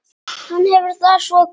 Hann hefur það svo gott.